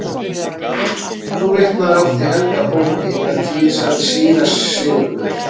Þú vitnaðir oft í helga bók í eina tíð, sagði síra Sigurður.